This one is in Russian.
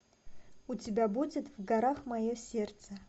у тебя будет в горах мое сердце